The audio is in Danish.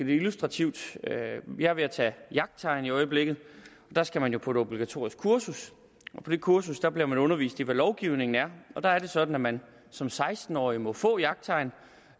det illustrativt jeg er ved at tage jagttegn i øjeblikket og der skal man jo på et obligatorisk kursus og på det kursus bliver man undervist i hvad lovgivningen er der er det sådan at man som seksten årig må få jagttegn